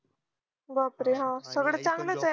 बापरे हा सगळं चांगलं च ये